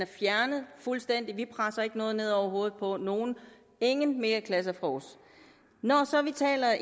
fjernet fuldstændig vi presser ikke noget ned over hovedet på nogen ingen megaklasser fra os når vi taler